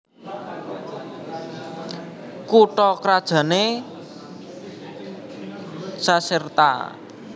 Kutha krajané Caserta